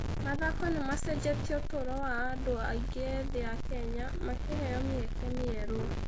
Mathako nĩ macenjetie ũtũũro wa andũ aingĩ ethĩ a Kenya, makĩheo mĩeke mĩerũ.